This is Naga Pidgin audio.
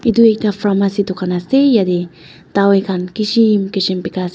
Edu ekta pharmacy dukan khan kishim kishim bika ase.